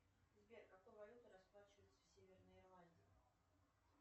сбер какой валютой расплачиваются в северной ирландии